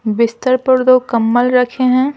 बिस्तर पर दो कम्बल रखे हैं।